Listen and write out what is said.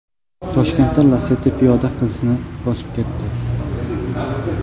Toshkentda Lacetti piyoda qizni bosib ketdi.